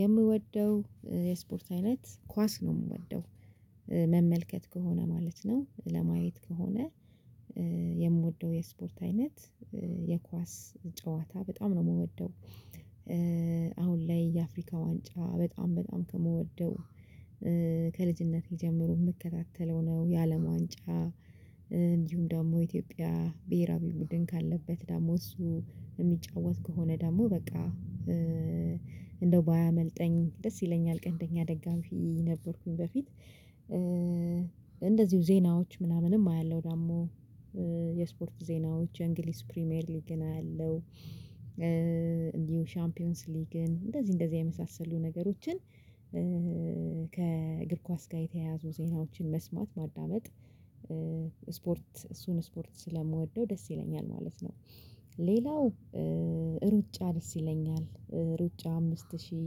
የምወደው የስፖርት አይነት ኳስ ነው የምወደው መመልከት ከሆነ ማለት ነው። ለማየት ከሆነ የምወደው የስፖርት አይነት የኳስ ጨዋታ በጣም ነው የምወደው። አሁን ላይ የአፍሪካ ዋንጫ በጣም በጣም ከምወደው ከልጅነት ጀምሮ የምከታተለው ነው። የአለም ዋንጫ፤ እንዲሁም ደግሞ ኢትዮጵያ ብሄራዊ ቡድን ካለበት፤ ደግሞ እሱ የሚጫወት ከሆነ ደግሞ፤ በቃ እንደው ባያመልጠኝ ደስ ይለኛል፤ ቀንደኛ ደጋፊ ነበርኩኝ በፊት። እንደዚሁ ዜናዎች ምናምንም አያለሁ። ደግሞ የስፖርት ዜናዎች የእንግሊዝ ፕሪሚየር ሊግን አያለሁ። ሻምፒዮንስ ሊግን እንደዚህ እንደዚህ የመሳሰሉ ነገሮችን፤ ከእግር ኳስ ጋር የተያያዙ ዜናዎችን መስማት፤ ማዳመጥ፤ ስፖርት እሱን ስፖርት ስለምወደው ደስ ይለኛል ማለት ነው። ሌላው ሩጫ ደስ ይለኛል። ሩጫ አምስት ሺህ፤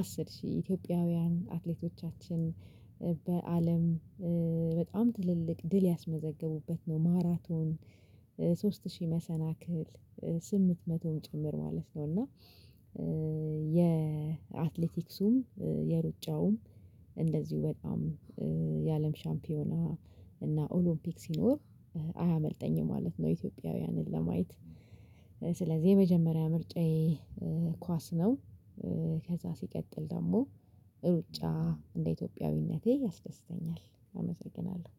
አስር ሺህ፤ ኢትዮጵያውያን አትሌቶቻችን፤ በአለም በጣም ትልልቅ ድል ያስመዘገቡበት ነው። ማራቶን፤ ሶስት ሺህ መሰናክል፤ ስምንት መቶም ጭምር ማለት ነው። እና የአትሌቲክሱም የሩጫውም እንደዚሁ በጣም የአለም ሻምፒዮና እና ኦሎምፒክ ሲኖር አያመልጠኝም ማለት ነው። ኢትዮጵያውያንን ለማየት ስለዚህ የመጀመሪያ ምርጫዬ ኳስ ነው። ከዛ ሲቀጥል ደግሞ ሩጫ እንደ ኢትዮጵያዊነቴ ያስደስተኛል አመሰግናለሁ።